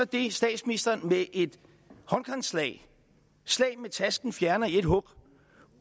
det statsministeren så med et håndkantslag fjerner i et hug